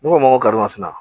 Ne ko n ko karimasina